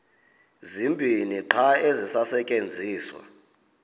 zibini qha ezisasetyenziswayo